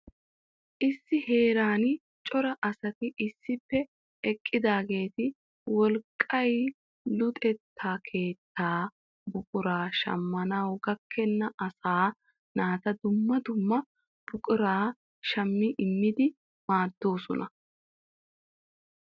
issi heeran cora asati issippe eqqidaageeti wolqqay luxetta keetta buqura shammanaw gakkena asaa naata dumma dumma buquraa shmmi immidi maaddoosona.